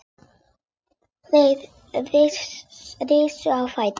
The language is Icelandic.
Þeir risu á fætur.